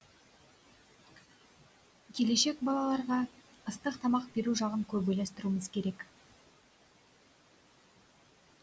келешек балаларға ыстық тамақ беру жағын көп ойластыруымыз керек